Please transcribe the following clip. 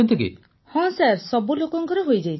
ପୁନମ ନୌଟିଆଲ ହଁ ସାର୍ ସବୁ ଲୋକଙ୍କର ହୋଇଯାଇଛି